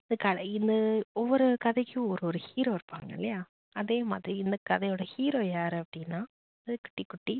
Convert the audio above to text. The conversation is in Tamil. இந்த கதையில ஒரு ஒரு கதைக்கும் ஒரு ஒரு hero இருப்பாங்க இல்லையா அதே மாதிரி இந்த கதையோட hero யாரு அப்படின்னா இந்த கடைக்குட்டி